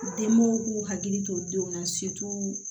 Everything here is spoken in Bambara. Denbɔw k'u hakili to olu denw na